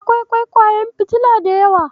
Akwai ƙwaiƙwayen fitila da yawa.